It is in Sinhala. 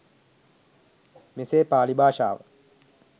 මෙසේ පාලි භාෂාව